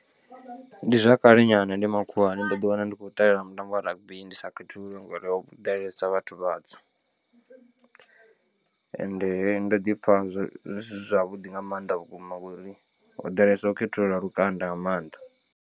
Ndi zwa kale nyana ndi makhuwani ndo ḓi wana ndi khou ṱalela mutambo wa rugby ndi sa khethululwi ngori ho ḓalesa vhathu vhatswu. Ende ndo ḓi pfha zwo zwisi zwavhuḓi nga maanḓa vhukuma ngori ho ḓalesaho u khethulula lukanda nga maanḓa.